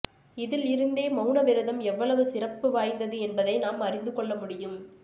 இதில் இருந்தே மௌனவிரதம் எவ்வளவு சிறப்பு வாய்ந்தது என்பதை நாம் அறிந்துகொள்ள முடியும்